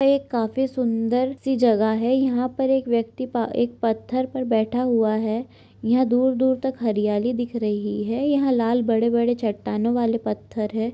यह काफी सुंदर सी जगह है। यहा पर एक व्यक्ति पा एक पत्थर पर बैठा हुआ है। यहा दूर दूर तक हरियाली दिख रही है। यहा लाल बड़े बड़े चट्टानो वाले पत्थर है।